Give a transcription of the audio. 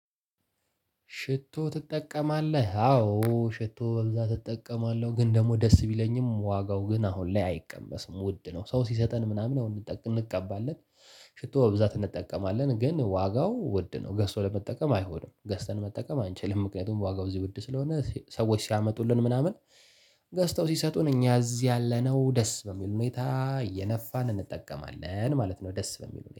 ሽቶ ትጠቀማለህ አዎ ሽቶ በብዛት እጠቀማለህ ግን ደግሞ ደስ ቢለኝም ዋጋው ግን አሁን ላይ አይቀመስም ውድ ነው ሰው ሲሰጠን ምናምን አሁን እንጠቀም እንቀባለን። ሽቶ በብዛት እንጠቀማለን ግን ዋጋው ውድ ነው ገዝቶ ለመጠቀም አይሆንም ገዝተን መጠቀም አንችልም ምክንያቱም ዋጋው እዚህ ውድ ስለሆነ ሰዎች ሲያመጡልን ምናምን። ገዝተው ሲሰጡን እኛ እዚህ ያለነው ደስ በሚል ሁኔታ እየነፋን እንጠቀማለን ማለት ነው። ደስ በሚሉ